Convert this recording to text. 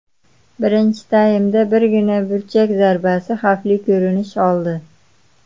Birinchi taymda birgina burchak zarbasi xavfli ko‘rinish oldi.